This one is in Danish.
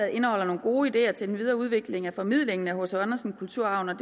indeholder nogle gode ideer til en videreudvikling af formidlingen af hc andersen kulturarven og